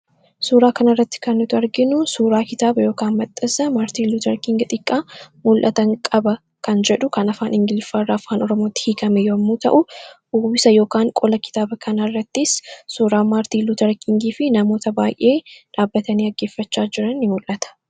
Suuraa kanarratti kan arginu suuraa kitaaba yookaan maxxansa Maartin Luuter King xiqqaa 'Mul'atan Qaba' kan jedhu kan afaan Ingiliffaa irraa afaan Oromootti hiikame yommuu ta'u, qola kitaaba kanaa irrattis suuraa Maartin Luuter King fi namoota baay'ee dhaabbatanii dhaggeeffachaa jiran ni mul'ata.